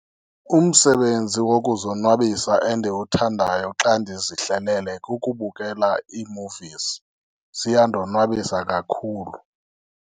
Umsebenzi wokuzonwabisa endiwuthandayo xa ndizihlelele kukubukela iimuvizi, ziyandonwabisa kakhulu.